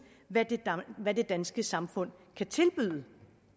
hvad det danske samfund kan tilbyde